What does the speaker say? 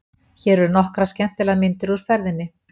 Hér eru nokkrar skemmtilegar myndir úr ferðinni.